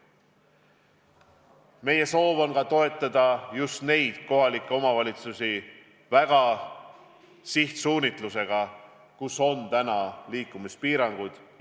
Meie soov on toetada just neid omavalitsusi, kus on täna liikumispiirangud.